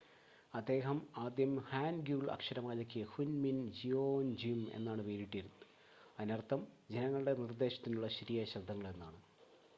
"അദ്ദേഹം ആദ്യം ഹാൻഗ്യുൾ അക്ഷരമാലയ്ക്ക് ഹുൻമിൻ ജിയോൻജ്യും എന്നാണ് പേരിട്ടത് അതിനർത്ഥം "ജനങ്ങളുടെ നിർദ്ദേശത്തിനുള്ള ശരിയായ ശബ്ദങ്ങൾ" എന്നാണ്.